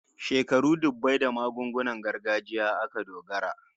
Shekaru dubbai da magungunan gargajiya aka dogara